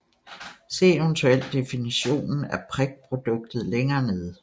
Se eventuelt definitionen af prikproduktet længere nede